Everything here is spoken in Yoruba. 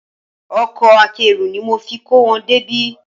Ọkọ akẹ́rù ni mo fi kó wọn débí